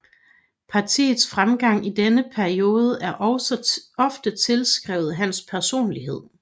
Partiets fremgang i denne periode er ofte tilskrevet hans personlighed